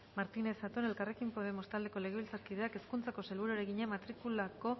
martínez zatón elkarrekin podemos taldeko legebiltzarkideak hezkuntzako sailburuari egina matrikulako